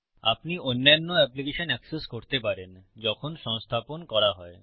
আপনি অন্যান্য application access করতে পারেন যখন সংস্থাপন করা হয়